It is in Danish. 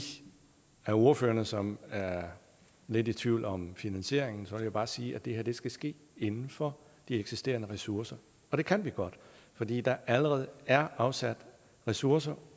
af ordførerne som er lidt i tvivl om finansieringen vil jeg bare sige at det her skal ske inden for de eksisterende ressourcer og det kan vi godt fordi der allerede er afsat ressourcer